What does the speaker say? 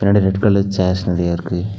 பின்னாடி red colour chairs நெறையா இருக்கு.